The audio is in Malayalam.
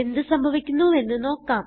എന്ത് സംഭവിക്കുന്നുവെന്ന് നോക്കാം